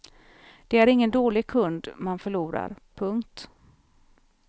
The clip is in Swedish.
Det är ingen dålig kund man förlorar. punkt